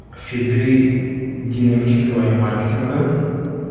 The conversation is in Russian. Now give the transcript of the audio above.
виды динамического ремаркетинга